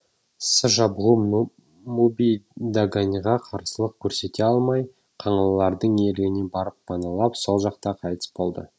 сы жабғу муби даганьға қарсылық көрсете алмай қаңлылардың иелігіне барып паналап сол жақта қайтыс болды